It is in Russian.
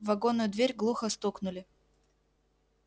в вагонную дверь глухо стукнули